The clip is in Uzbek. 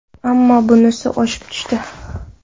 Ammo bunisi oshib tushdi”.